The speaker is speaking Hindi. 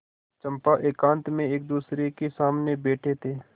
चंपा एकांत में एकदूसरे के सामने बैठे थे